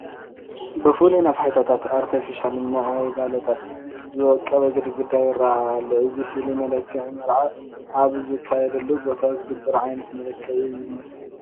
ብፍሉይ ብነፋሒቶታትን ኣርተፊሻል ዕምበባታትን ዝወቀበ ግድግዳ ይርአ ኣሎ፡፡ እዚ ፍሉይ መመላክዒ መርዓ ኣብ ዝካየደሉ ቦታ ዝግበር ዓይነት መመላክዒ እዩ ዝመስል፡፡